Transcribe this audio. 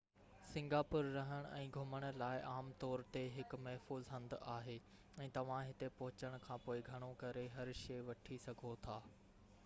Singapore رهڻ ۽ گهمڻ لاءِ عام طور تي هڪ محفوظ هنڌ آهي ۽ توهان هتي پهچڻ کانپوءِ گهڻو ڪري هر شئي وٺي سگهو ٿا